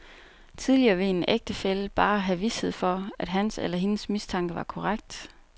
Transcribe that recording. Tidligere ville en ægtefælle bare have vished for, at hans eller hendes mistanke var korrekt.